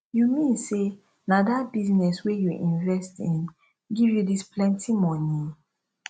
you mean say na dat business wey you invest in give you dis plenty money